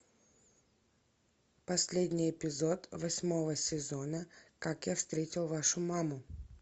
последний эпизод восьмого сезона как я встретил вашу маму